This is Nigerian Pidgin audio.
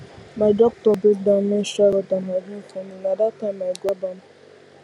my doctor break down menstrual health and hygiene for me na that time i grab am